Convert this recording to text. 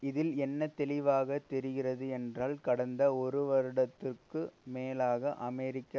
இதில் என்ன தெளிவாக தெரிகிறது என்றால் கடந்த ஒரு வருடத்துக்கு மேலாக அமெரிக்க